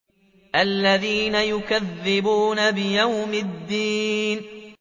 الَّذِينَ يُكَذِّبُونَ بِيَوْمِ الدِّينِ